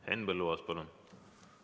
Henn Põlluaas, palun!